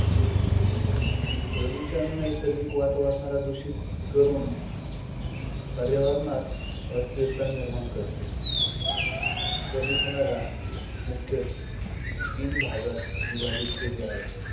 प्रदूषण नैसर्गिक वातावरणाला दूषित करून पर्यावरणात अस्थिरता निर्माण करते. प्रदूषणाला मुख्यतः तीन भागात विभाजित केले आहे